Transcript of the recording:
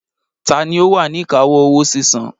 Tani ó wà ní ìkáwọ́ owó sísan?